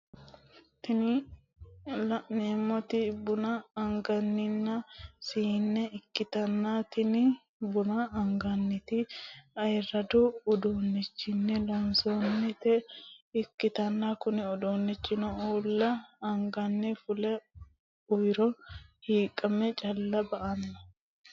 Tini lanemoti bunna aniganni sine ikitana tini buana agiganitino ayiradu udunichinni loosanitinota ikitana kunni udunichino ulla anganni fule uwiiro hiqqme calla baano.